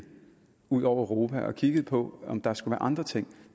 ud over europa og kigget på om der skulle være andre ting